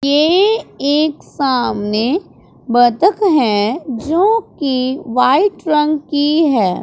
के एक सामने बतख है जो कि वाइट रंग की है।